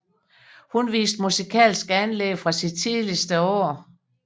Hun viste musikalske anlæg fra sine tidligste år